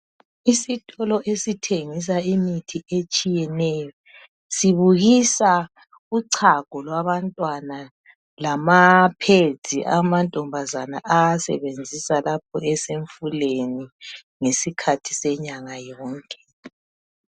Isitolo esithengisa imithi etshiyeneyo sibukisa uchago lwabantwana lama pad amantombazana awasebenzisa lapho esemfuleni ngesikhathi senyanga yonke.